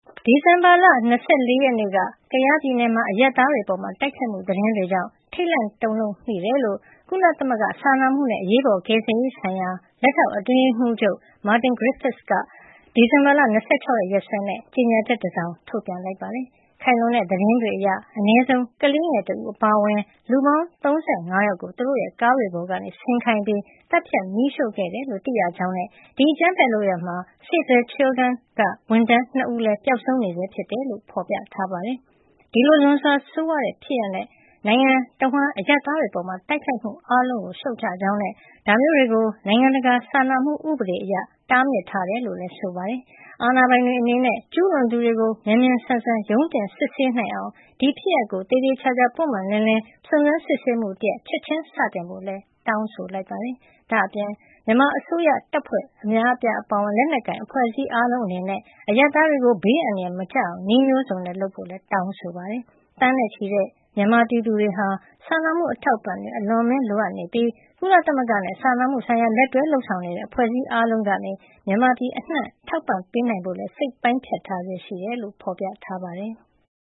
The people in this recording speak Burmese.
ဒီဇင်ဘာလ ၂၄ ရက်နေ့က ကယားပြည်နယ်မှာ အရပ်သားတွေအပေါ် တိုက်ခိုက်မှု သတင်းတွေကြောင့် ထိတ်လန့် တုန်လှုပ်မိကြောင်း ကုလသမဂ္ဂ စာနာမှုနဲ့ အရေးပေါ် ကယ်ဆယ်ရေးဆိုင်ရာ လက်ထောက်အတွင်းရေးမှူးချုပ်က ဒီဇင်ဘာ ၂၆ ရက်စွဲနဲ့ ကြေညာချက်တစောင် ထုတ်ပြန်ပါတယ်။ ခိုင်လုံတဲ့ သတင်းတွေအရ အနည်းဆုံး ကလေးငယ်တဦး အပါအဝင် လူ ၃၅ ယောက်ကို သူတို့ရဲ့ကားတွေပေါ်က ဆင်းခိုင်းပြီး သတ်ဖြတ် မီးရှို့ခဲ့တယ်လို့ သိရကြောင်းနဲ့ ဒီအကြမ်းဖက်လုပ်ရပ်မှာ Save the Children က ဝန်ထမ်း ၂ ဦးလည်း ပျောက်ဆုံးနေဆဲ ဖြစ်တယ်လို့ ဖော်ပြထားပါတယ်။ ဒီလို လွန်စွာဆိုးရွားတဲ့ ဖြစ်ရပ်နဲ့ နိုင်ငံတဝန်း အရပ်သားတွေအပေါ် တိုက်ခိုက်မှု အားလုံးကို ရှုတ်ချကြောင်းနဲ့ ဒါမျိုးတွေကို နိုင်ငံတကာ စာနာမှု ဥပဒေအရ တားမြစ်ထားတယ်လို့လည်း ဆိုပါတယ်။ အာဏာပိုင်တွေအနေနဲ့ ကျူးလွန်သူတွေကို မြန်မြန်ဆန်ဆန် ရုံးတင်စစ်ဆေးနိုင်အောင် ဒီဖြစ်ရပ်ကို သေသေချာချာ ပွင့်ပွင့်လင်းလင်း စုံစမ်းစစ်ဆေးမှုတရပ် ချက်ချင်းစတင်ဖို့လည်း တောင်းဆိုလိုက်ပါတယ်။ ဒါ့အပြင် မြန်မာအစိုးရ တပ်ဖွဲ့များ အပါအဝင် လက်နက်ကိုင် အဖွဲ့အစည်းအားလုံး အနေနဲ့ အရပ်သားတွေကို ဘေးအန္တရာယ် မကျရောက်အောင် နည်းမျိုးစုံနဲ့ လုပ်ဆောင်ကြဖို့လည်း တောင်းဆိုလိုက်ပါတယ်။ သန်းနဲ့ချီတဲ့ မြန်မာပြည်သူတွေဟာ စာနာမှု အထောက်အပံ့တွေကို အလွန်အမင်း လိုအပ်နေပြီး ကုလသမဂ္ဂနဲ့ စာနာမှုဆိုင်ရာ လက်တွဲလုပ်ဆောင်နေတဲ့ အဖွဲ့အစည်း အားလုံးကနေ မြန်မာပြည်အနှံ့ ထောက်ပံ့ပေးနိုင်ဖို့ စိတ်ပိုင်းဖြတ်ထားဆဲ ဖြစ်တယ်လို့လည်း ဖော်ပြထားပါတယ်။